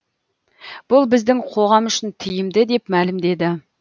бұл біздің қоғам үшін тиімді деп мәлімдеді